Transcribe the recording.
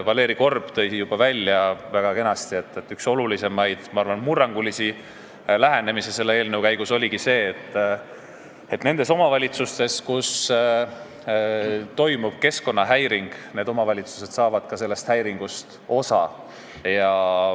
Valeri Korb tõi juba väga kenasti välja, et üks olulisemaid ja ma arvan, et murrangulisi lähenemisi selles eelnõus ongi see, et need omavalitsused, kus toimub keskkonnahäiring, saavad ka nendest tasudest rohkem osa.